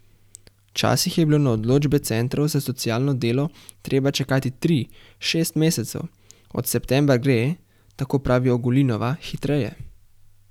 Včasih je bilo na odločbe centrov za socialno delo treba čakati tri, šest mesecev, od septembra gre, tako pravi Ogulinova, hitreje.